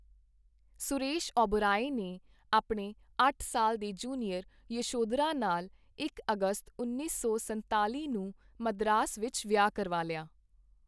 ਸੁਰੇਸ਼ ਓਬਰਾਏ ਨੇ ਆਪਣੇ ਅੱਠ ਸਾਲ ਦੇ ਜੂਨੀਅਰ ਯਸ਼ੋਦਰਾ ਨਾਲ ਇਕ ਅਗਸਤ ਉੱਨੀ ਸੌ ਸੰਨਤਾਲ਼ੀ ਨੂੰ ਮਦਰਾਸ ਵਿੱਚ ਵਿਆਹ ਕਰਵਾ ਲਿਆ।